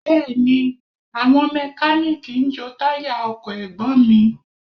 Bẹ́ẹ̀ni, àwọn Mẹkáníìkì ń jo táyà ọkọ̀ Ẹ̀gbọ́n mi